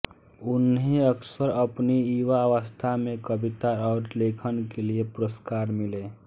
उन्हें अक्सर अपनी युवावस्था में कविता और लेखन के लिए पुरस्कार मिले